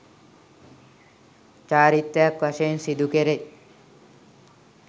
චාරිත්‍රයක් වශයෙන් සිදුකෙරෙයි.